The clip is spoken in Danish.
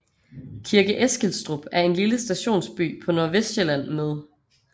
Kirke Eskilstrup er en lille stationsby på Nordvestsjælland med